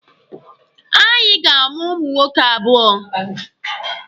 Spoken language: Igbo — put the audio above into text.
Anyị ga-amụ ụmụ nwoke abụọ